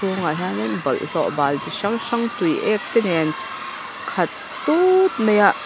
chhungah hian in bawlhlawh bal chi hrang hrang tuiek te nen khat tut mai a--